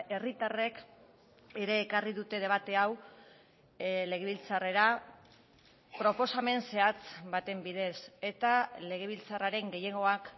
herritarrek ere ekarri dute debate hau legebiltzarrera proposamen zehatz baten bidez eta legebiltzarraren gehiengoak